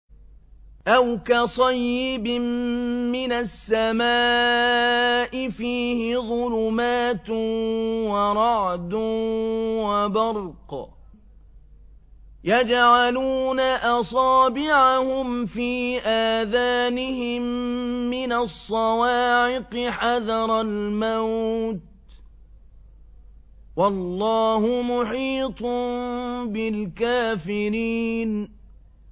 أَوْ كَصَيِّبٍ مِّنَ السَّمَاءِ فِيهِ ظُلُمَاتٌ وَرَعْدٌ وَبَرْقٌ يَجْعَلُونَ أَصَابِعَهُمْ فِي آذَانِهِم مِّنَ الصَّوَاعِقِ حَذَرَ الْمَوْتِ ۚ وَاللَّهُ مُحِيطٌ بِالْكَافِرِينَ